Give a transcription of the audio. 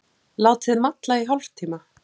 Látið malla í hálftíma.